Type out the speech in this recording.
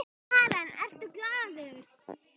Karen: Ertu glaður?